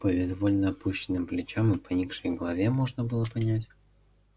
по безвольно опущенным плечам и поникшей голове можно было понять